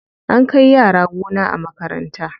An kai yara gona a makaranta.